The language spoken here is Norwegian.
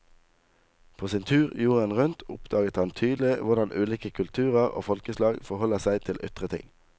På sin tur jorden rundt oppdaget han tydelig hvordan ulike kulturer og folkeslag forholder seg til ytre ting.